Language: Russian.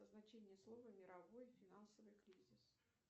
значение слова мировой финансовый кризис